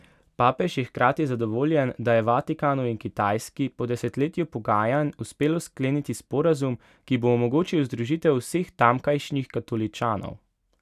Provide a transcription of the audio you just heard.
Papež je hkrati zadovoljen, da je Vatikanu in Kitajski po desetletju pogajanj uspelo skleniti sporazum, ki bo omogočil združitev vseh tamkajšnjih katoličanov.